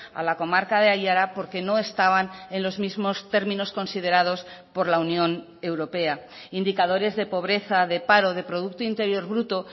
a la comarca de aiara porque no estaban en los mismos términos considerados por la unión europea indicadores de pobreza de paro de producto interior bruto